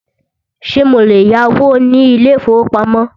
Ṣé mo lè yáwó ní ilé ìfọwọ́pamo?